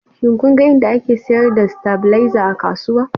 Shin kun ga inda ake sayar da stabilizer a kasuwa?